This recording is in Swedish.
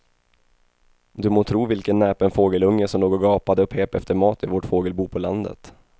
Du må tro vilken näpen fågelunge som låg och gapade och pep efter mat i vårt fågelbo på landet.